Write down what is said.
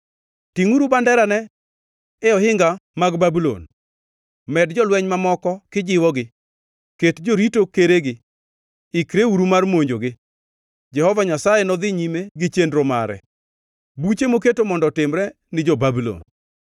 Tingʼuru banderane e ohinga mag Babulon! Med jolweny mamoko kijiwogi, ket jorito keregi, ikreuru mar monjogi! Jehova Nyasaye nodhi nyime gi chenro mare, buche moketo mondo otimre ni jo-Babulon.